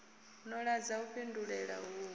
no ḓadza u fhindulela uhu